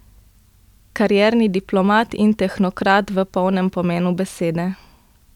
Karierni diplomat in tehnokrat v polnem pomenu besede.